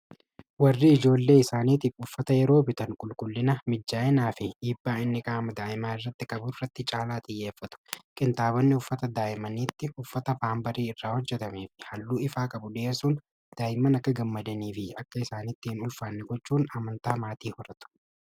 warri ijoollee isaaniitiif uffata yeroo bitan qulqullina mijjaa'inaa fi hiibbaa inni ka'ama daa'imaa irratti qabuu irratti caalaa xiyyeeffatu qintaabonni uffata daa'imaniitti uffata faanbarii irraa hojjetamii f halluu ifaa qabu di'esuun daa'iman akka gammadanii fi akka isaaniitti hin ulfaanni gochuun amantaa maatii horatu